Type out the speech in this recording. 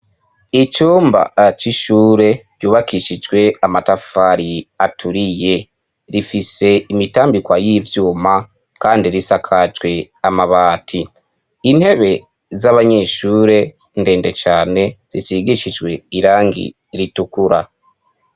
Icumba c'ishure ryubakishijwe amatafari aturiye. Rifise imitambikwa y'ivyuma kandi risakajwe amabati. Intebe z'abanyeshure ndende cane zisigishijwe irangi ritukura.